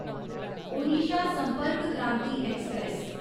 Odisha Sampark Kranti express